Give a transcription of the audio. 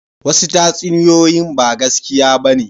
Wasu tatsuniyoyin ba gaskiya ba ne